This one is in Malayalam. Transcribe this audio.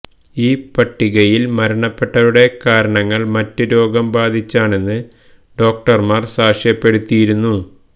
ഈ പട്ടികയില് മരണപ്പെട്ടവരുടെ കാരണങ്ങള് മറ്റ് രോഗം ബാധിച്ചാണെന്ന് ഡോക്ടര്മാര് സാക്ഷ്യപ്പെടുത്തിയിരുന്നു